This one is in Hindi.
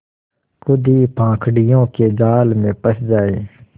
खुद ही पाखंडियों के जाल में फँस जाए